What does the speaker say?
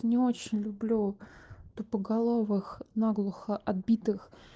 не очень люблю тупоголовых наглухо отбитых